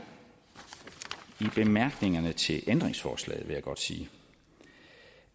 i bemærkningerne til ændringsforslaget vil jeg godt sige